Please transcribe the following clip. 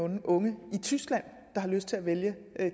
unge i tyskland der har lyst til at vælge